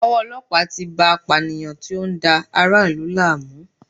Owó ọlọ́pàá tí bá a apànìyàn tó ń dá ara ìlú láàmú.